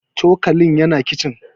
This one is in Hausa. cokalin yana kicin